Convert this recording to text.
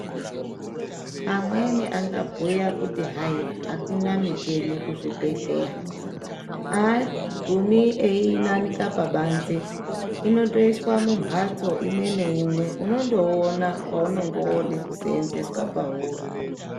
Amweni angambuya kuti hai hakuna micheni kuzvibhedhleya. Hagumi einanika pabanze inotoiswa mumhatso imwe neimwe unondouona paunenge vakuda kusenzeswa pauri.